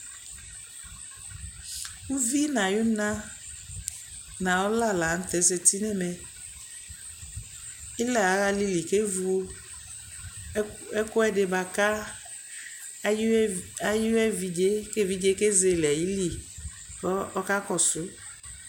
Uvi nayuna nɔla lanutɛ ƶati nɛmɛ ila awa alili kevʋʋ ɛkuɛdi baka ayeviɖʒe keviɖʒe keʒele ayili kaka kɔsuu